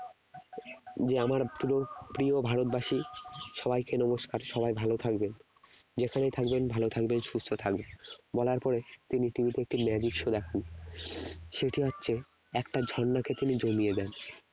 যে আমার প্রিয় প্রিয় ভারতবাসী সবাইকে নমস্কার সবাই ভালো থাকবেন যেখানে থাকবেন ভালো থাকবেন সুস্থ থাকবেন বলার পরে তিনি TV তে একটি magic show দেখান সেটি হচ্ছে একটা ঝর্নাকে তিনি জমিয়ে দেন